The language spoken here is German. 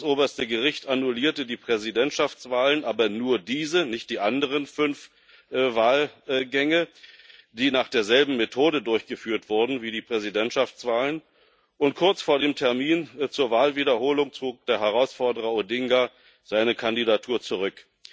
Das oberste Gericht annullierte die Präsidentschaftswahlen aber nur diese, nicht die anderen fünf Wahlgänge, die nach derselben Methode durchgeführt wurden wie die Präsidentschaftswahlen und kurz vor dem Termin zur Wahlwiederholung zog der Herausforderer Odinga seine Kandidatur zurück.